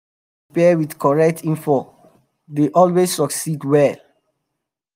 farmers wey dey prepare with correct info dey always succeed well